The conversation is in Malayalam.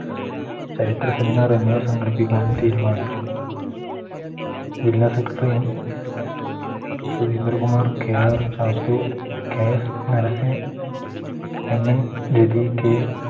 ചരിത്ര Seminar എന്നിവ സങ്കെടുപ്പിക്കാനും തീരുമാനിച്ചു ജില്ലാ Secretary യും സുരേന്ദ്ര കുമാർ KR ചാത്തു KS നരസിം MN ലതി K